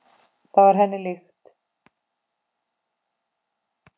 Það var henni líkt.